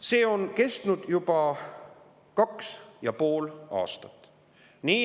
See on kestnud juba kaks ja pool aastat.